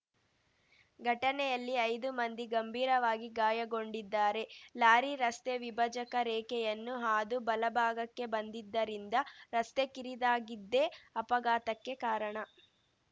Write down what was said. ಘಟನೆಯಲ್ಲಿ ಐದು ಮಂದಿ ಗಂಭೀರವಾಗಿ ಗಾಯಗೊಂಡಿದ್ದಾರೆ ಲಾರಿ ರಸ್ತೆ ವಿಭಜಕ ರೇಖೆಯನ್ನು ಹಾದು ಬಲಭಾಗಕ್ಕೆ ಬಂದಿದ್ದರಿಂದ ರಸ್ತೆ ಕಿರಿದಾಗಿದ್ದೇ ಅಪಘಾತಕ್ಕೆ ಕಾರಣ